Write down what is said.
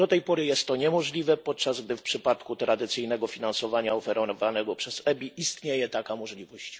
Do tej pory jest to niemożliwe, podczas gdy w przypadku tradycyjnego finansowania oferowanego przez EBI istnieje taka możliwość.